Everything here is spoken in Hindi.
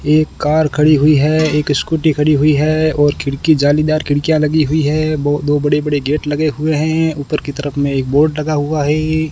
एक कार खड़ी हुई है एक स्कूटी खड़ी हुई है और खिड़की जालीदार खिड़कियां लगी हुई है वो दो बड़े बड़े गेट लगे हुए हैं ऊपर की तरफ में एक बोर्ड लगा हुआ है।